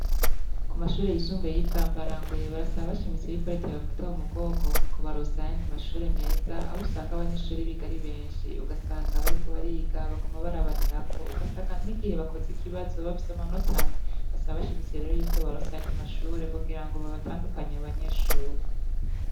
Kumashure yisumbuye yibwambarangwe barasaba bashimitse yuko reta yobafata mumugongo mukubaronsa ayandi mashure meza ahusanga abanyeshure biga ari benshi ugasanga bariko bariga baguma barabanirako ugasanga nigihe bakoze ikibazo bafise amanota amwe basaba bashimitse rero ko yobaronsa ayandi mashure kugira ngo babatandukanye abobanyeshure